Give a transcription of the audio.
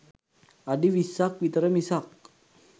අඩි විස්සක් විතර මිසක්